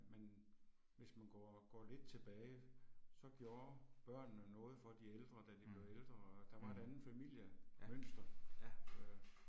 Men hvis man går går lidt tilbage, så gjorde børnene noget for de ældre da de blev ældre, og der var et andet familiemønster øh